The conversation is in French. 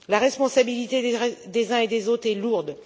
La responsabilité des uns et des autres est lourde.